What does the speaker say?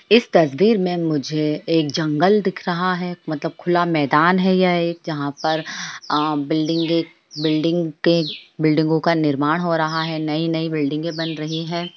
इस तस्वीर में मुझे एक जंगल दिख रहा है मतलब खुला मैदान है यह एक जहाँ पर अ बिल्डिंगे बिल्डिंगे के बिल्डिंगों का निर्माण हो रहा है नई-नई बिल्डिंगे बन रहीं हैं।